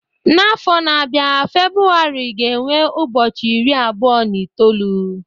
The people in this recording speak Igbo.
N'afọ na-abịa February ga-enwe ụbọchị iri abụọ na itoolu